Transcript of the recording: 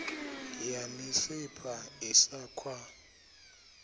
ya misipha i sa khwa